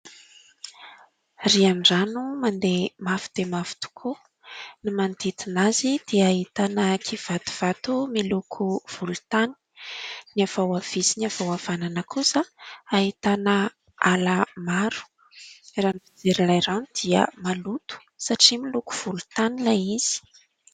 Riandrano mandeha mafy dia mafy tokoa: ny manodidina azy dia ahitana kivatovato miloko volontany, ny avy ao havia sy avy ao havanana kosa dia ahitana ala maro. Raha ny fijery ilay rano dia maloto satria miloko volontany ilay izy.